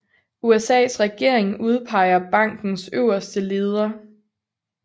USAs regering udpeger bankens øverste leder